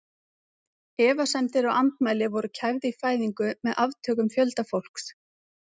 Efasemdir og andmæli voru kæfð í fæðingu með aftökum fjölda fólks.